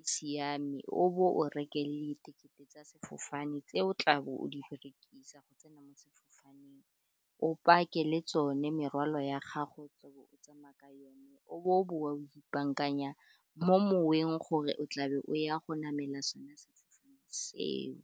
e siame, o bo o reke le ditekete tsa sefofane tse o tlabo o di berekisa go tsena mo sefofaneng, o pake le tsone merwalo ya gago e tlabo o tsamaya ka yone, o bo o boa o ipaakanya mo moweng gore o tlabe o ya go namela sone sefofaneng seo.